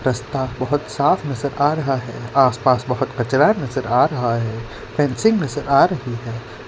रास्ता बहुत साफ नजर आ रहा है आसपास बहोत कचरा नजर आ रहा है फेंसिंग नजर आ रही है।